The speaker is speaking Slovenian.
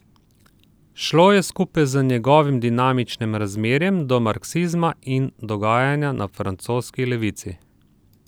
Šlo je skupaj z njegovim dinamičnim razmerjem do marksizma in dogajanja na francoski levici.